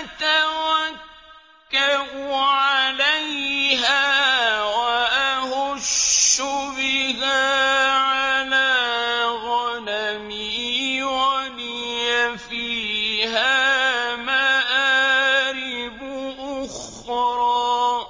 أَتَوَكَّأُ عَلَيْهَا وَأَهُشُّ بِهَا عَلَىٰ غَنَمِي وَلِيَ فِيهَا مَآرِبُ أُخْرَىٰ